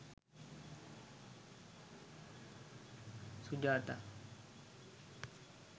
sujatha